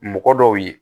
Mɔgɔ dɔw ye